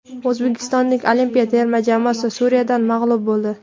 O‘zbekiston olimpiya terma jamoasi Suriyadan mag‘lub bo‘ldi.